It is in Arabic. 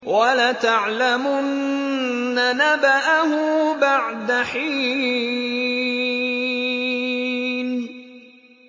وَلَتَعْلَمُنَّ نَبَأَهُ بَعْدَ حِينٍ